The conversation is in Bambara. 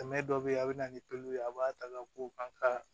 Tɛmɛ dɔ bɛ yen a bɛ na ni ye a b'a ta ko an ka